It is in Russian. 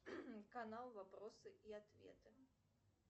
канал вопросы и ответы